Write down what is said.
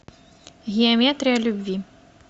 геометрия любви